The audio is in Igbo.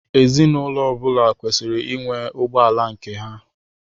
Ezinụlọ ọ bụla kwesịrị ịnwe ụgbọ ala nke ha.